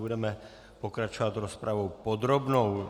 Budeme pokračovat rozpravou podrobnou.